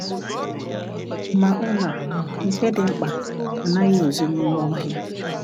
Ma ụlọ a, nke dị mkpa, anaghị ezo n’ime ọhịa.